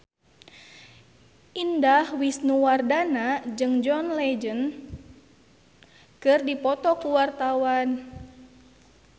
Indah Wisnuwardana jeung John Legend keur dipoto ku wartawan